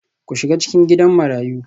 Ku shiga cikin Gidan Marayu